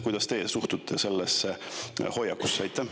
Kuidas teie suhtute sellesse hoiakusse?